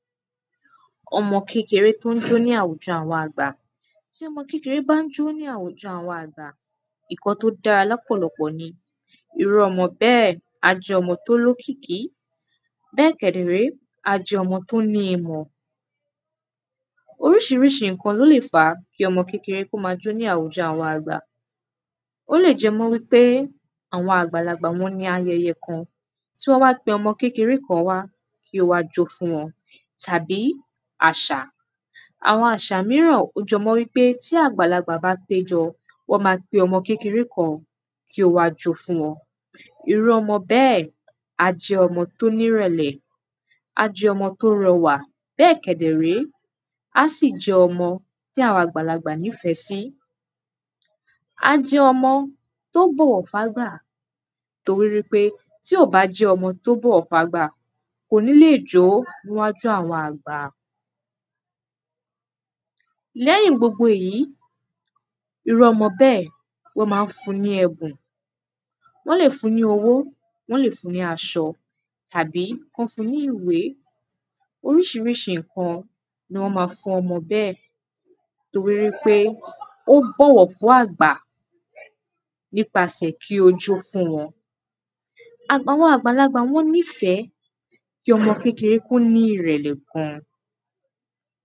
ọmọ kékeré tí ó n jó ní àwùjọ àwọn àgbà tí ọmọ kékeré bá jó ní àwùjọ àwọn àgbà ǹkan tí ódára lọ́pọ̀lọpọ̀ irú ọmọ bẹ́ẹ̀ á jẹ́ ọmọ tí ó ní òkìkí bệ kẹ̀dẹ̀ré á jẹ́ ọmọ tí ó ní ìmọ̀ orísirísi ǹkan ló lè fá kí ọmọ kékeré kí ó ma jó ní àwùjọ àwọn àgbà ólè jẹ mọ́ wípé àwọn àgbàlagbà wọ́n ní ayẹyẹ kan tí wọ́n wá pe ọmọ kékeré kan wá kí ó wá jó fún wọn tàbí àsà àwọn àsà míràn jé mọ́ wípé tí àgbàlagbà bá pé jọ wọ́n ma pe ọmọ kékeré kan kí ó wá jó fún wọn irú ọmọ bée ̀ á jẹ ọmọ tí ó ní ìrẹ̀lẹ̀ á jẹ́ ọmọ tí ó rọwà bê kẹ̀dẹ̀ré á s̀i jẹ́ ọmọ, tí àgbàlagbà nîfẹ sí á jẹ́ ọmọ, tí ó bòwò fún àgbà torí wípé, tí ó bá jẹ́ ọmọ tí ò bọ̀wọ̀ fún àgbà kò ní lè jó ní wájú àwọn àgbà lẹ́yìn gbogbo èyí irú ọmọ béè wọ́n má n fũ ní èbùn wón lè fun ní owó wọ́n lè fun ní asọ tàbí kí wón fun ní ìwé orísirísi ǹkan ni wọ́n ma fún omo béè torí wípé ó bọ̀wọ̀ fún àgbà nípa sẹ̀ kí ó jó fún wọn àwọn àgbà wọn nîfẹ kí ọmọ kékeré kí ó ní ìrèlẹ̀ gan